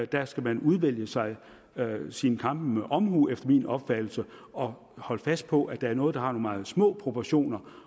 der skal man udvælge sig sine kampe med omhu efter min opfattelse og holde fast på at det er noget der har meget små proportioner